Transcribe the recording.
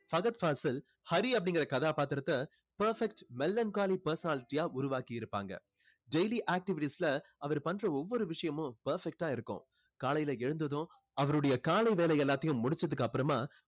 ஃபகத் ஃபாசில் ஹரி அப்படிங்கற கதாபாத்திரத்தை perfect melancholy personality ஆ உருவாக்கி இருப்பாங்க daily activities ல அவர் பண்ற ஒவ்வொரு விஷயமும் perfect ஆ இருக்கும் காலையில எழுந்ததும் அவருடைய காலை வேலை எல்லாத்தையும் முடிச்சதுக்கு அப்பறமா